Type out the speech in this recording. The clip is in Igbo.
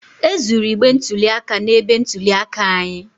E zuru igbe ntụli aka na-ebe ntụli aka anyị